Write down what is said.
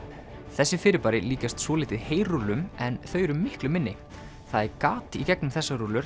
þessi fyrirbæri líkjast svolítið heyrúllum en þau eru miklu minni það er gat í gegnum þessar rúllur